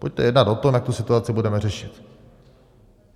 Pojďte jednat o tom, jak tu situaci budeme řešit.